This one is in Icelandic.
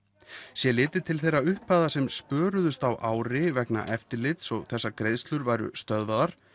sé litið til þeirra upphæða sem spöruðust á ári vegna eftirlits og þess að greiðslur væru stöðvaðar